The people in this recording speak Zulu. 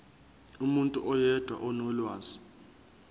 umuntu oyedwa onolwazi